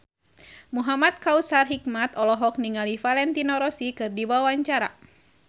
Muhamad Kautsar Hikmat olohok ningali Valentino Rossi keur diwawancara